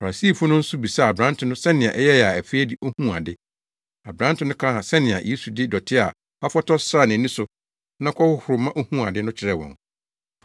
Farisifo no nso bisaa aberante no sɛnea ɛyɛe a afei de ohuu ade. Aberante no kaa sɛnea Yesu de dɔte a wafɔtɔw sraa nʼani so na ɔkɔhohoro ma ohuu ade no kyerɛɛ wɔn.